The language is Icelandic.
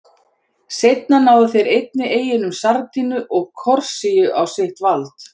Seinna náðu þeir einnig eyjunum Sardiníu og Korsíku á sitt vald.